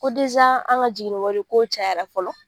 Ko an ka jiginni wari ko cayala fɔlɔ